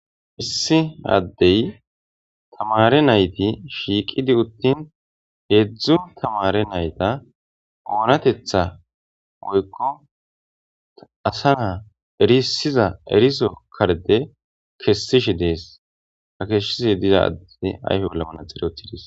Issi addey tamare nayti shiiqidi uttin heedzdzu tamare nayta oonatetha woykko asa naa erisiza eriso karde kessishi dees ha keshshise diza addii ayfe ollamana xerotidis.